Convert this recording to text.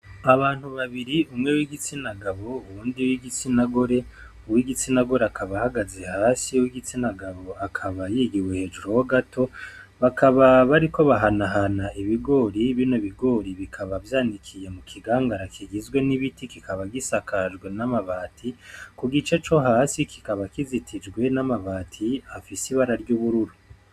Abantu babiri umwe w'igitsina gabo uwundi w'igitsina gore ,uw'igitsina gore akaba ahagaze hasi uw'igitsina gabo akaba yegewe hejuru yiwe gato, bakababariko bahanahana ibigori bino bigori bikaba vyanikiye mu kigangara kigizwe n'ibiti kikaba gisakajwe n'amabati ,ku gice co hasi kikaba kizitijwe n'amabati afise ibara ry'ubururu.